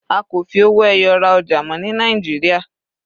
A kò fi owó ẹyọ ra ọjà mọ́ ní Nàìjíríà.